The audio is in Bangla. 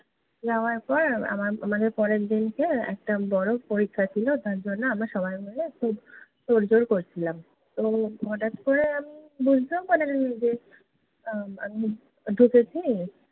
যাওয়ার পর, আমার মানে, পরের দিনকে একটা বড় পরীক্ষা ছিলো, তার জন্য আমরা সবাই মিলে খুব তোড়জোড় করছিলাম। তো হঠাৎ করে আমি বুঝতেই পারিনি যে, আহ আমি ঢুকেছি